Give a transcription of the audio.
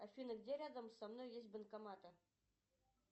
афина где рядом со мной есть банкоматы